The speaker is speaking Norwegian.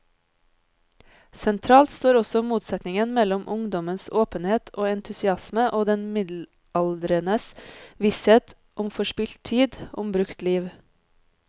Sentralt står også motsetningen mellom ungdommens åpenhet og entusiasme og den middelaldrendes visshet om forspilt tid, om brukt liv.